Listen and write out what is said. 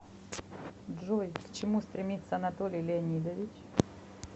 джой к чему стремится анатолий леонидович